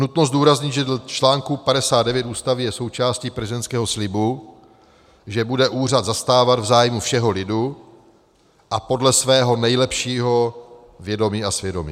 Nutno zdůraznit, že dle článku 59 Ústavy je součástí prezidentského slibu, že bude úřad zastávat v zájmu všeho lidu a podle svého nejlepšího vědomí a svědomí.